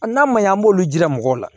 A n'a ma ɲɛ an b'olu jira mɔgɔw la